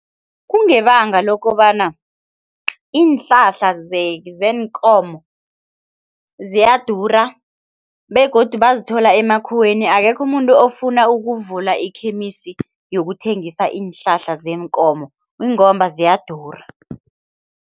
Kungebanga lokobana iinhlahla zeenkomo ziyadura begodu bazithola emakhiweni akekho umuntu ofuna ukuvula ikhemisi yokuthengisa iinhlahla zeenkomo ingomba ziyadura.